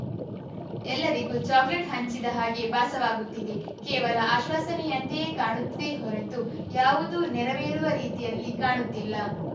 ಎಲ್ಲರಿಗೂ ಚಾಕಲೇಟ್‌ ಹಂಚಿದ ಹಾಗೆ ಭಾಸವಾಗುತ್ತಿದೆ ಕೇವಲ ಆಶ್ವಾಸನೆಯಂತೆ ಕಾಣುತ್ತಿದೆಯೇ ಹೊರತು ಯಾವುದೂ ನೆರವೇರುವ ರೀತಿಯಲ್ಲಿ ಕಾಣುತ್ತಿಲ್ಲ